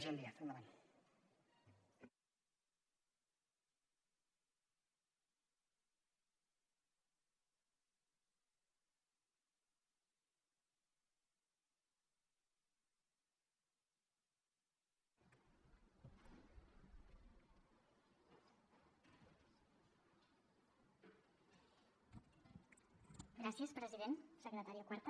gràcies president secretària quarta